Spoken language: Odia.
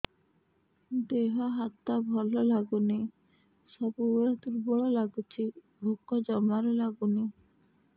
ଦେହ ହାତ ଭଲ ଲାଗୁନି ସବୁବେଳେ ଦୁର୍ବଳ ଲାଗୁଛି ଭୋକ ଜମାରୁ ଲାଗୁନି